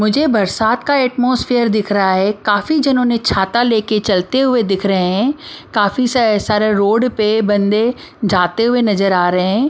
मुझे बरसात का अट्मॉस्फियर दिख रहा है काफी जनों ने छाता लेकर चलते हुए दिख रहे हैं काफी स सारे रोड पे बंदे जाते हुए नजर आ रहे हैं।